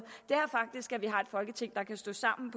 er folketing der kan stå sammen